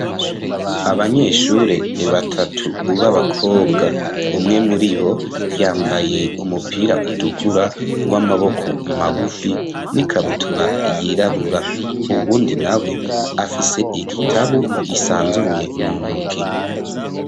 Abanyeshuri batatu b'abakobwa, umwe muri bo yambaye umupira utukura w'amaboko magufi, n'ikabutura yirabura, uwundi nawe afise igitabu gisanzuruye mu ntoke.